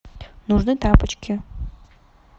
нужны тапочки